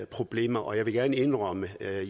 problemer og jeg vil gerne indrømme at jeg